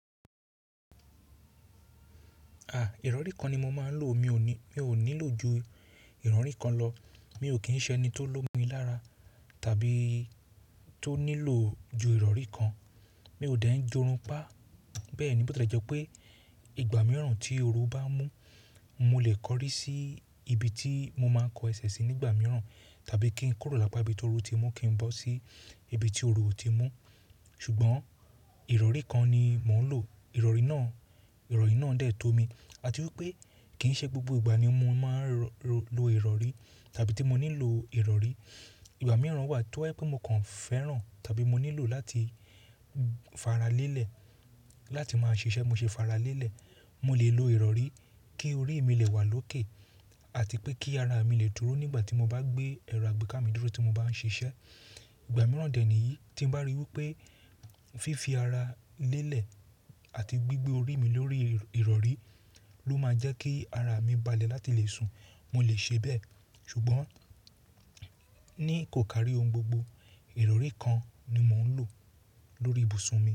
À, ìrọ̀rí kan ni mo máa ń lò. Mi ò ní, mi ò nílò ju ìrọ̀rí kan lọ. Mi ò kín ṣẹ ni tó lómi lára tàbí tó nílò ju ìrọ̀rí kan. Mi ò dẹ̀ ń jorun pá. Bẹ́ẹ̀ ni bó ti lè jẹ́ pé ìgbà mìíràn tí oru bá mú, mo lè kọrí sí ibi tí mo máa ń kọ ẹsẹ̀ sí nígbà mìíràn tàbí kí ń kórò lápá bí tó rú ti mú kí ń bọ́ sí ibi tí oru ò tí mú. Ṣùgbọ́n ìrọ̀rí kan ni mò ń lò. Ìrọ̀rí náà, ìrọ̀rí náà dẹ̀ tó mi. Àti wípé kí ń ṣe gbogbo ìgbà ni mo máa ń rọ, lò ìrọ̀rí tàbí tí mo nílò ìrọ̀rí. Ìgbà mìíràn wà tó haípé mo kàn fẹ́ràn tàbí mo nílò láti faralélẹ̀, láti máa ṣiṣẹ́ mo ṣe faralélẹ̀, mo lè lo ìrọ̀rí kí orí mi lè wà lókè àti pé kí ara mi lè dúró nígbà tí mo bá gbé ẹ̀rọ àgbékámídírò tí mo bá ń ṣiṣẹ́. Ìgbà mìíràn dẹ̀ níyí tí ń bá ríi wípé fífi ara lélẹ̀ àti gbigbe orí mi lórí ìrọ̀rí ló máa jẹ́ kí ara mi balẹ̀ láti le sùn, mo lè ṣe bẹ́ẹ̀. Ṣùgbọ́n ní kò kárí ohun gbogbo, ìrọ̀rí kan ni mò ń lò lórí ibùsùn mi.